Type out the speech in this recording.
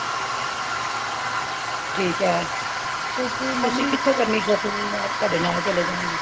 ਠੀਕ ਏ ਤੁਸੀ ਕਿਥੋਂ ਕਰਨੀ shopping ਮੈਂ ਤੁਹਾਡੇ ਨਾਲ ਚਲੇ ਜਾਂਗੀ